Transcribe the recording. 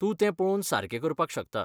तूं तें पळोवन सारकें करपाक शकता.